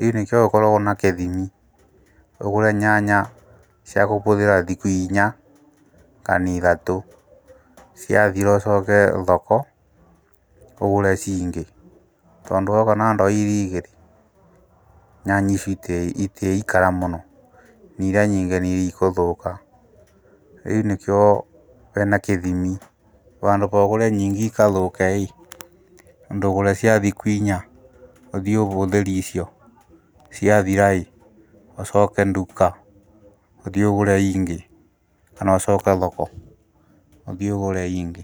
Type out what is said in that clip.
rĩũ nĩkĩo gũkoragwa na kĩthimi, ũgũre nyanya cia kũhũthiĩra thukũ inya kana ithatũ, ciathira ũcoke thoko ũgũre cingĩ, tondũ woka na ndoo irĩ igĩrĩ, nyanya icio itĩikara mũno, irĩa nyingĩ nĩikũthũka, rĩũ nĩkĩo hena kĩthimi handũ ha ũgũre nyingĩ ikathũke, ndũgũre cia thukũ inya ũthii ũhũthĩre icio ciathiraĩ ,ũcoke nduka ũthiiũgũre ingĩ kana ũcoke thoko ũthii ũgũre ingĩ.